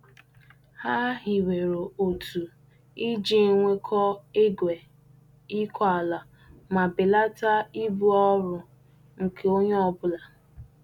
Ha hiwere otu iji nwekọọ igwe ịkọ ala ma belata ibu ọrụ nke onye ọ bụla.